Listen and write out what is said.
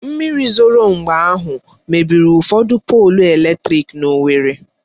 Mmiri zoro mgbe ahụ mebiri ụfọdụ polụ eletrịk n'Owerri